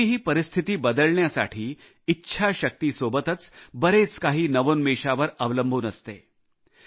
कोणतीही परिस्थिती बदलण्यासाठी इच्छाशक्ती सोबतच बरेच काही नवोन्मेशावर अवलंबून असते